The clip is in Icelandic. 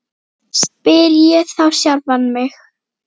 spyr ég þá sjálfan mig.